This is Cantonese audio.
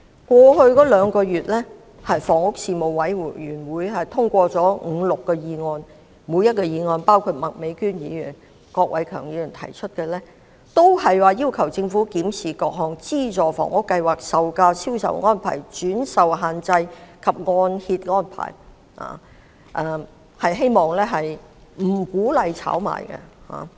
過去兩月，房屋事務委員會通過了五六項議案——包括麥美娟議員及郭偉强議員提出的議案——每一項均要求政府檢視各項資助房屋計劃、樓價、銷售安排、轉售限制及按揭安排，希望政府不要鼓勵市民炒賣。